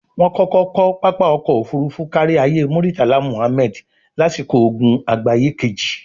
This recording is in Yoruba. wọ́n kọ́kọ́ kọ́ pápá Ọkọ̀ Òfurufú Káríayé Múrítàlá Mùhammẹ̀d lásìkò ogun àgbáyé kejì